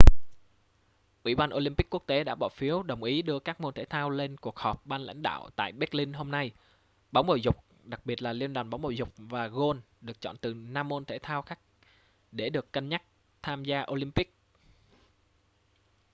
ủy ban olympic quốc tế đã bỏ phiếu đồng ý đưa các môn thể thao lên cuộc họp ban lãnh đạo tại berlin hôm nay bóng bầu dục đặc biệt là liên đoàn bóng bầu dục và gôn được chọn từ năm môn thể thao khác để được cân nhắc tham gia olympics